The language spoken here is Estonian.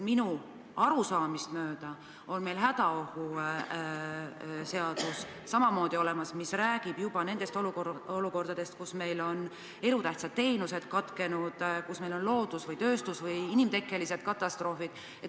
Minu arusaamist mööda on meil hädaolukorra seadus samamoodi olemas, see räägib samuti olukordadest, kus meil on elutähtsad teenused katkenud, kus meil on loodus-, tööstus- või inimtekkeline katastroof.